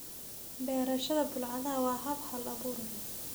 Beerashada bulaacadaha waa hab hal abuur leh.